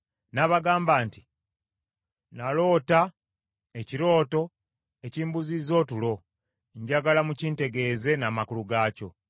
N’abagamba nti, “Naloota ekirooto ekimbuzizza otulo, njagala mukintegeeze n’amakulu gaakyo.”